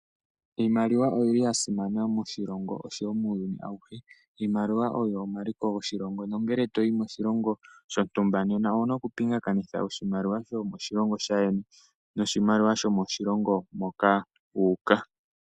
Iimaliwa oyi li ya simana moshilongo osho wo muyuni auhe, iimaliwa oyo omaliko goshilongo, nongele to yi moshilongo, shontumba, nena ouna oku pingakanitha, oshimaliwa sho moshilongo shaayeni, noshimaliwa sho mo shilongo moka wuuka.